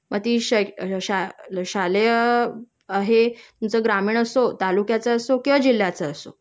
मग ती शै अ शाले शालेय हे तुमच ग्रामीण असो तालुक्याचं असो किंवा जिल्ह्याचं असो